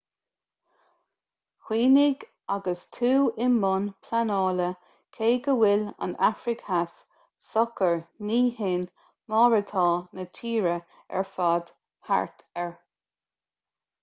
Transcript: cuimhnigh agus tú i mbun pleanála cé go bhfuil an afraic theas socair ní shin mar atá na tíortha ar fad thart air